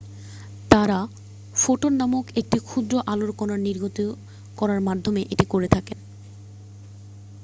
"তারা "ফোটন" নামক একটি ক্ষুদ্র আলোর কণা নির্গত করার মাধ্যমে এটি করে থাকে।